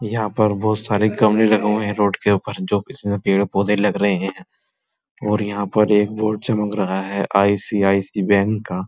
यहाँ पर बोहोत सारे गमले लगे हुए हैं रोड के ऊपर जोकि किसी में पेड़-पौधे लग रहे हैं और यहाँ पर एक बोर्ड चमक रहा है आईसीआईसी बैंक का।